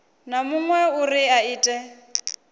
na muṅwe uri a ite